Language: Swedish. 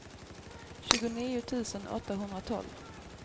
tjugonio tusen åttahundratolv